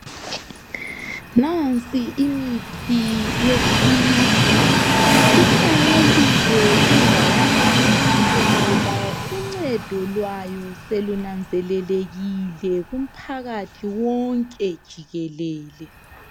Nansi imithi yesintu. Ihlanyeliwe indawana yonke ngoba uncedo lwayo selunanzelelekile kumpakathi wonke jikelele.